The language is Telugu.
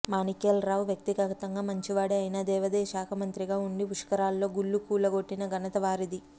మాణిక్యాలరావు వ్యక్తిగతంగా మంచి వాడే అయినా దేవాదాయ శాఖమంత్రిగా వుండి పుష్కరాల్లో గుళ్లు కూలగొట్టిన ఘనత వారిది